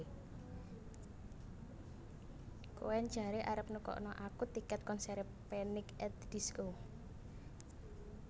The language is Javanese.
Koen jare arep nukokno aku tiket konsere Panic at the Disco